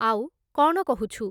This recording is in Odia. ଆଉ, କ'ଣ କହୁଛୁ?